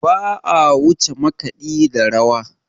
Ba a wuce makaɗi da rawa.